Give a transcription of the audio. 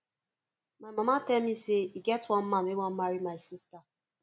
my mama tell me say e get one man wey wan marry my sister